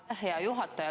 Aitäh, hea juhataja!